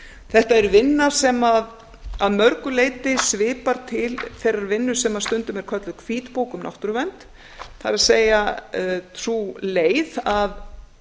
þetta er vinna sem að mörgu leyti svipar til þeirrar vinnu sem stundum er kölluð hvítbók um náttúruvernd það er sú leið að